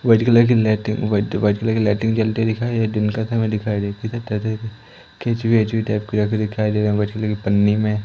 White colour की lighting white white colour की lighting जलती हुई दिखाई दिन का समय दिखाई दे है केंचुए-वेंचुए टाइप के यहां पर दिखाई दे रहा है व्हाइट कलर की पन्नी में।